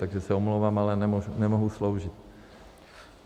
Takže se omlouvám, ale nemohu sloužit.